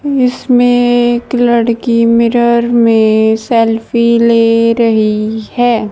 इसमें एक लड़की मिरर में सेल्फी ले रही है।